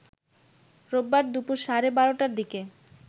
রোববার দুপুর সাড়ে ১২টার দিকে